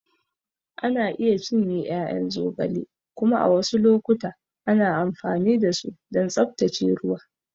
Ana iya cinye ƴaƴan zogale kuma a wasu lokuta ana amfani da su don tsaftace ruwa.